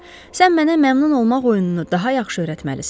Sən mənə məmnun olmaq oyununu daha yaxşı öyrətməlisən.